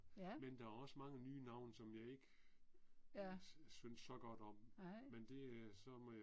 Ja. Ja. Nej